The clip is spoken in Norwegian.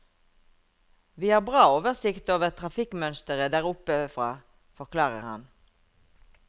Vi har bra oversikt over trafikkmønsteret der oppe fra, forklarer han.